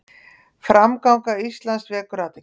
Framganga Íslands vekur athygli